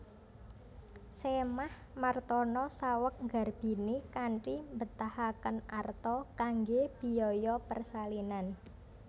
Sémah Martono saweg nggarbini kanthi mbetahaken arta kanggé biaya persalinan